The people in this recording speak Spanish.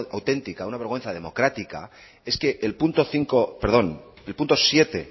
auténtica una vergüenza democrática es que el punto cinco perdón el punto siete